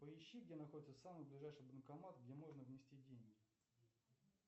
поищи где находится самый ближайший банкомат где можно внести деньги